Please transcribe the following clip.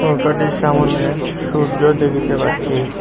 নৌকাটির সামোনে সূর্য্য দেখিতে পাচ্ছি।